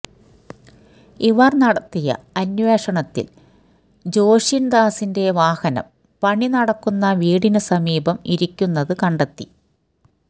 ഇവർ നടത്തിയ അന്വേഷണത്തിൽ ജോഷിൻദാസിന്റെ വാഹനം പണിനടക്കുന്ന വീടിനു സമീപം ഇരിക്കുന്നത് കണ്ടെത്തി